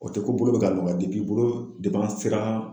O tɛ ko bolo bɛ ka nɔgɔya bolo an sera